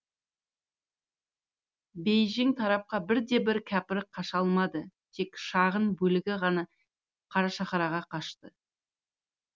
бейжің тарапқа бірде бір кәпір қаша алмады тек шағын бөлігі ғана қарашаһарға қашты